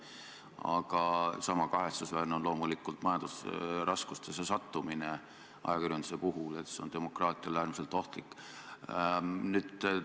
Aga sama kahetsusväärne on loomulikult ajakirjanduse majandusraskustesse sattumine, see on demokraatiale äärmiselt ohtlik.